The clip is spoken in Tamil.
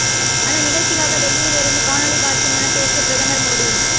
அந்த நிகழ்ச்சிக்காக டெல்லியிலிருந்து காணொளி காட்சிமூலம் பேசிய பிரதமர் மோடி